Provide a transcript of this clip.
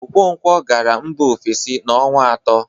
Okoronkwọ gara mba ofesi na ọnwa atọ.